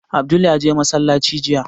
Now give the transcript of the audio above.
Abdul ya je masallaci jiya